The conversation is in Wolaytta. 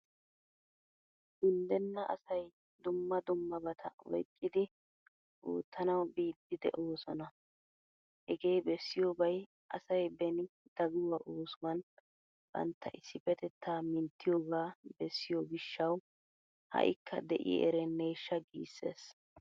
Unddenna asay dumma dummabata oyqqidi oottanawu biiddi de'oosona. Hegee bessiyoobay asay beni daguwa oosuwan bantta issippetettaa minttiyoogaa bessiyo gishshawu ha'ikka de'i ereneeshshaa giissees.